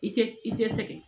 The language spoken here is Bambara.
I tɛ i tɛ sɛgɛn